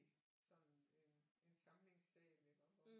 Sådan en en samlingssal iggå